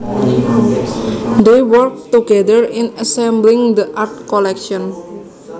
They worked together in assembling the art collection